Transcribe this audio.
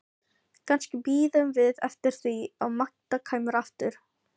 Kannski biðum við eftir því að Magda kæmi aftur.